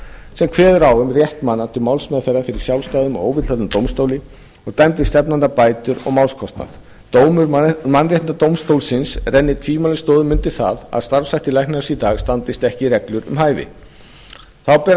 sem kveður á um rétt manna til málsmeðferðar fyrir sjálfstæðum og óvilhöllum dómstóli og dæmdi stefnanda bætur og málskostnað dómur mannréttindadómstólsins rennir tvímælalaust stoðum undir það að starfshættir læknaráðs í dag standist ekki reglur um hæfi þá ber að